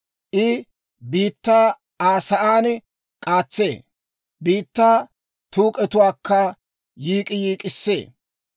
I biittaa Aa sa'aan k'aatsee; biittaa tuuk'etuwaakka yiik'k'iyiik'k'issee.